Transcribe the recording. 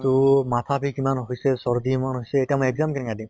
তহ মাথা বিষ ইমান হৈছে, চৰ্দি ইমান হৈছে এতিয়া মই exam কেনেকে দিম